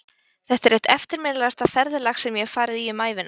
Þetta er eitt eftirminnilegasta ferðalag sem ég hef farið í um ævina.